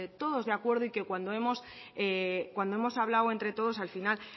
todos de acuerdo y que cuando hemos hablado entre todos al final